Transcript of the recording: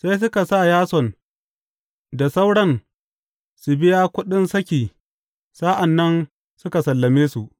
Sai suka sa Yason da sauran su biya kuɗin saki sa’an nan suka sallame su.